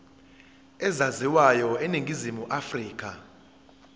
ezaziwayo eningizimu afrika